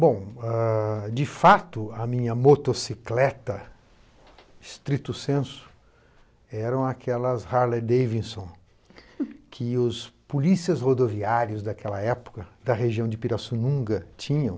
Bom, ãh, de fato, a minha motocicleta, estrito senso, eram aquelas Harley Davidson, que os polícias rodoviários daquela época, da região de Pirassununga, tinham.